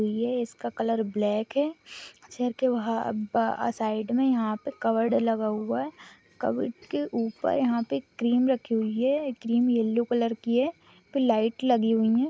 यह इसका colour black है अक्षर के वहां साइड में यहां पर कप्बोडड लगा हुआ है कप्बोडड के ऊपर यहां पर क्रीम रखी हुई है क्रीम येलो कलर की है लाइट लगी हुई है।